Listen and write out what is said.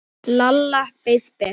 Lalla leið betur.